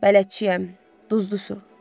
Bələdçiyəm, duzlu su.